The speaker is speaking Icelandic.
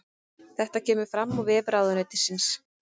Þetta kemur fram á vef ráðuneytisins